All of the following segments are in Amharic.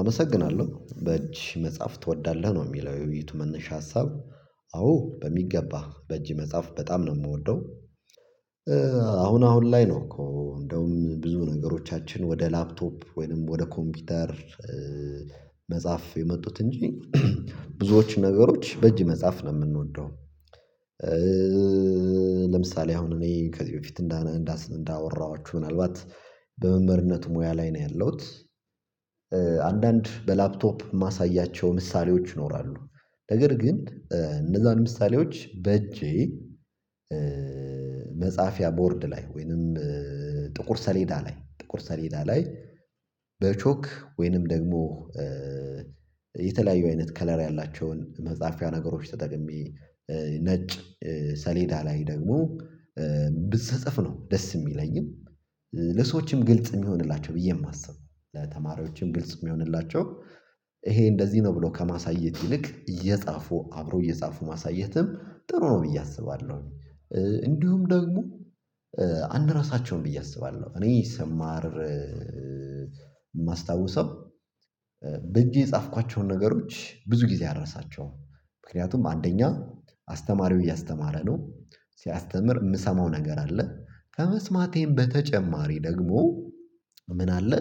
አመሰግናለሁ። በእጅ መጻፍ ትወዳለህ? ነው የሚለው የውይይቱ መነሻ ሀሳብ። አዎ በሚገባ በእጅ መጻፍ በጣም ነው የምወደው። አሁን አሁን ላይ ነው እኮ እንደውም ብዙ ነገሮቻችን ወደ ላፕቶፕ ወይንም ወደ ኮምፒውተር መጻፍ የመጡት እንጂ ብዙዎች ነገሮች በእጅ መጻፍ ነው የምንወደው። ለምሳሌ አሁን እኔ ከዚህ በፊት እንዳወራኋችሁ ምናልባት በመምህርነት ሙያ ላይ ነው ያለሁት አንዳንድ በላፕቶፕ የማሳያቸው ምሳሌዎች ይኖራሉ። ነገር ግን እነዛን ምሳሌዎች በእጄ መፃፍያ ቦርድ ላይ ወይንም ጥቁር ሰሌዳ ላይ ጥቁር ሰሌዳ ላይ በቾክ ወይንም ደግሞ የተለያዩ አይነት ከለር ያላቸውን መጻፊያ ነገሮች ተጠቅሜ ነጭ ሰሌዳ ላይ ደግሞ ስጽፍ ነው ደስ የሚለኝም ለሰዎችም ግልጽ የሚሆንላቸው ብዬ የማስበው። ለተማሪዎችም ግልጽ የሚሆንላቸው ይሄ እንደዚህ ነው ብሎ ከማሳየት ይልቅ እየጻፉ አብሮ እየጻፉ ማሳየትም ጥሩ ነው ብዬ አስባለሁ። እንዲሁም ደግሞ አንረሳቸውም ብዬ አስባለሁ። እኔ ስማር የማስታውሰው በእጄ የጻፍኳቸውን ነገሮች ብዙ ጊዜ አረሳቸውም። ምክንያቱም አንደኛ አስተማሪው እያስተማረ ነው ሲያስተምር የምሰማው ነገር አለ። ከመስማቴም በተጨማሪ ደግሞ ምን አለ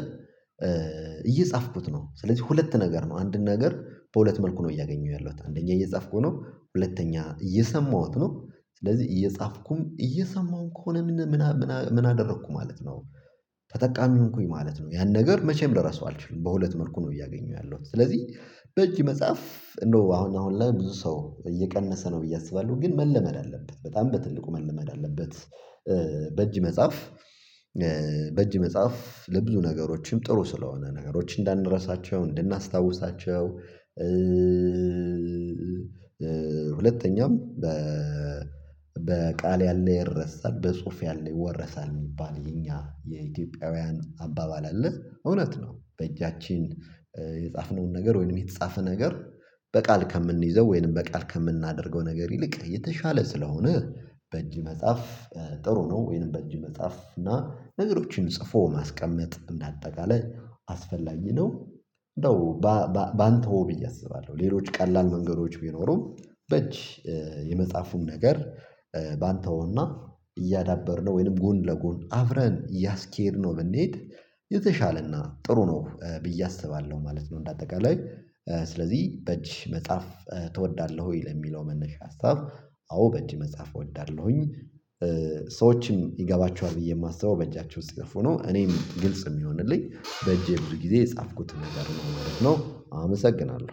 እየጻፍኩት ነው። ስለዚህ ሁለት ነገር ነው። አንድን ነገር በሁለት መልኩ ነው እያገኘሁ ያለሁት። አንደኛ እየጻፍኩ ነው ሁለተኛ እየሰማሁት ነው። ስለዚህ እየጻፍኩም እየሰማሁም ከሆነ ምን ምን ምን ምን አደረኩ ማለት ነው? ተጠቃሚ ሆንኩኝ ማለት ነው። ያን ነገር መቼም ልረሳው አልችልም በሁለት መልኩ ነው እያገኘሁ ያለሁት። ስለዚህ በእጅ መጻፍ እንደው አሁን አሁን ላይ ብዙ ሰው እየቀነሰ ነው ብዬ አስባለሁ። ግን መለመድ አለበት። በጣም በትልቁ መለመድ አለበት። በእጅ መጻፍ በእጅ መጻፍ ለብዙ ነገሮችም ጥሩ ስለሆነ። ነገሮችን እንዳንረሳቸው፣ እንድናስታውሳቸው ሁለተኛም 'በቃል ያለ ይረሳል በጽሁፍ ያለ ይወረሳል' የሚባል የኛ የኢትዮጵያውያን አባባል አለ። እውነት ነው። በእጃችን የጻፍነውን ነገር ወይንም የተጻፈ ነገር በቃል ከምንይዘው ወይንም በቃል ከምናደርገው ነገር ይልቅ የተሻለ ስለሆነ በእጅ መጻፍ ጥሩ ነው። ወይንም በእጅ መጻፍ እና ነገሮችን ጽፎ ማስቀመጥ እንዳጠቃላይ አስፈላጊ ነው። እንደው ባንተወው ብዬ አስባለሁ። ሌሎች ቀላል መንገዶች ቢኖሩም በእጅ የመፃፉን ነገር ባንተወውና እያዳበርነው ወይንም ጎን ለጎን አብረን እያስኬድነው ብንሄድ የተሻለና ጥሩ ነው። ብዬ አስባለሁ ማለት ነው እንደ አጠቃላይ። ስለዚህ በእጅ መጽሐፍ ትወዳለህ ወይ? ለሚለው መነሻ ሀሳብ አዎ በእጅ መጻፍ እወዳለሁኝ። ሰዎችም ይገባቸዋል ብዬ የማስበው በእጃቸው ሲጽፉ ነው። እኔም ግልጽ የሚሆንልኝ በእጄ ብዙ ጊዜ የጻፍኩትን ነገር ነው ማለት ነው። አመሰግናለሁ።